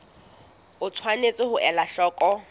o tshwanetse ho ela hloko